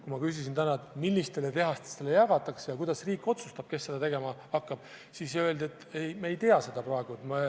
Kui ma küsisin täna, millistele tehastele seda võimalust jagatakse ja kuidas riik otsustab, kes seda tegema hakkab, siis öeldi, et me ei tea seda praegu.